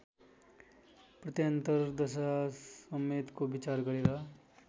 प्रत्यन्तर दशासमेतको विचार गरेर